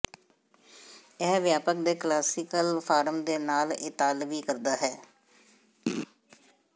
ਇਹ ਵਿਆਪਕ ਦੇ ਕਲਾਸੀਕਲ ਫਾਰਮ ਦੇ ਨਾਲ ਇਤਾਲਵੀ ਕਰਦਾ ਹੈ